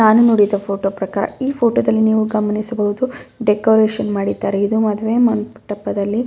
ನಾನು ನೋಡಿದ ಫೋಟೋ ಪ್ರಕಾರ ಈ ಫೋಟೋದಲ್ಲಿ ನೀವು ಗಮನಿಸಬಹುದು ಡೆಕೋರೇಷನ್ ಮಾಡಿದ್ದಾರೆ ಇದು ಮದುವೆ ಮಂಟಪದಲ್ಲಿ--